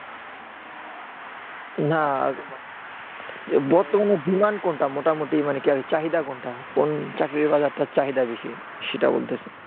না মানে বর্তমানে demand কোনটা মোটামুটি মানে কি আর চাহিদা কোনটা কোন চাকরির বাজারটার চাহিদা বেশি সেটা বলতাসি